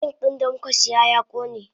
Zink din damukasiya ya kone.